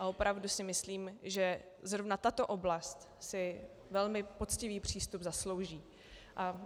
A opravdu si myslím, že zrovna tato oblast si velmi poctivý přístup zaslouží.